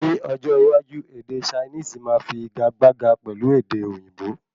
Ni ọjọ iwájú ède chinisi máa fi ìgagbága pẹ̀lú èdè òyìnbó